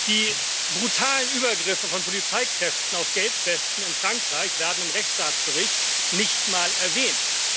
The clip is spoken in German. Die brutalen Übergriffe von Polizeikräften auf Gelbwesten in Frankreich werden im Rechtsstaatsbericht nicht einmal erwähnt.